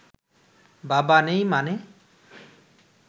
বাবা নেই মানে?